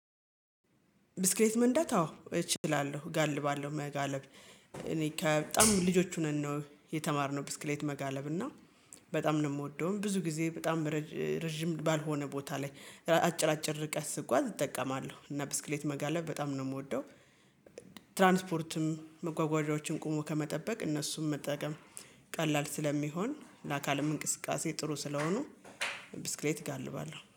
ብስክሌት መንዳት አዎ እችላለሁ እጋልባለሁ መጋለብ እኔ ከበጣም ልጆች ሆነን ነው የተማርነው ብስክሌት መጋለብ እና በጣም ነው የምወደውም ብዙ ጊዜ በጣም ረጅ ረጅም ባልሆነ ቦታ ላይ አጭር አጭር ርቀት ስጓዝ እጠቀማለሁ እና ብስክሌት መጋለብ በጣም ነው የምወደው። ትራንስፖርትም መጓጓዣዎችን ቆሞ ከመጠበቅ እነሱን መጠቀም ቀላል ስለሚሆን ለአካልም እንቅስቃሴ ጥሩ ስለሆኑ። ብስክሌት እጋልባለሁ